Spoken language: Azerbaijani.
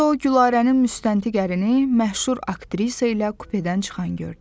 Burda o Gülarənin müstəntiq ərini, məşhur aktrisa ilə kupedən çıxan gördü.